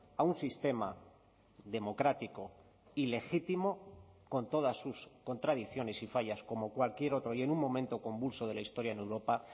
a un sistema democrático y legítimo con todas sus contradicciones y fallas como cualquier otro y en un momento convulso de la historia en europa